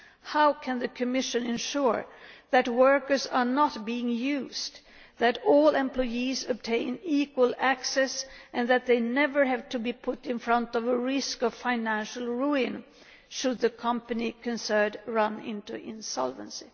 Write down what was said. How can the Commission ensure that workers are not being used, that all employees obtain equal access, and that they never have to face the risk of financial ruin should the company concerned run into insolvency?